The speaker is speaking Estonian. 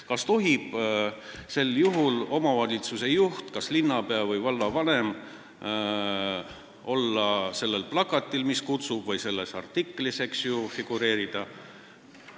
Kas sel juhul tohib omavalitsuse juht, kas linnapea või vallavanem olla kutsuval plakatil või kusagil artiklis figureerida?